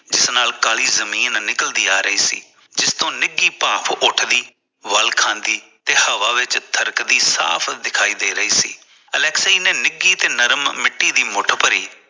ਜਿਸ ਨਾਲ ਕਾਲੀ ਜਮੀਨ ਨਿਕਲਦੀ ਆ ਰਹੀ ਸੀ ਜਿਸ ਤੋਂ ਨਿੱਗੀ ਭਾਫ਼ ਉੱਠਦੀ ਵੱਲ ਖਾਂਦੀ ਤੇ ਹਵਾ ਵਿੱਚ ਥਰਕਦੀ ਸਾਫ਼ ਦਿਖਾਈ ਦੇ ਰਹੀ ਸੀ ਅਲੈਕਸੀ ਨੇ ਨਿੱਗੀ ਤੇ ਨਰਮ ਮਿਟੀ ਦੀ ਮੁੱਠ ਭਰੀ